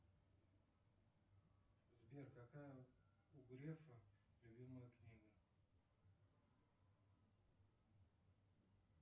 сбер какая у грефа любимая книга